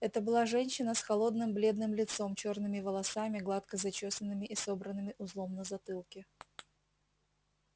это была женщина с холодным бледным лицом чёрными волосами гладко зачёсанными и собранными узлом на затылке